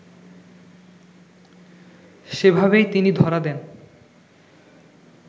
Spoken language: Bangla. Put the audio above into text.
সেভাবেই তিনি ধরা দেন